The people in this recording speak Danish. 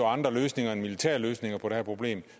andre løsninger end militære løsninger på det her problem